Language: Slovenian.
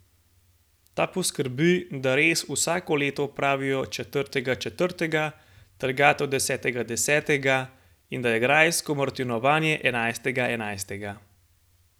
Ta poskrbi, da rez vsako leto opravijo četrtega četrtega, trgatev desetega desetega in da je grajsko martinovanje enajstega enajstega.